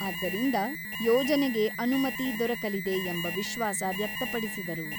ಆದ್ದರಿಂದ ಯೋಜನೆಗೆ ಅನುಮತಿ ದೊರಕಲಿದೆ ಎಂಬ ವಿಶ್ವಾಸ ವ್ಯಕ್ತಪಡಿಸಿದರು.